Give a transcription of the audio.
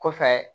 Kɔfɛ